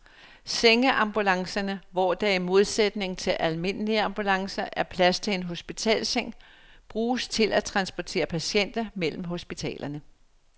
Sengeambulancerne, hvor der i modsætning til almindelige ambulancer er plads til en hospitalsseng, bruges til at transportere patienter mellem hospitalerne.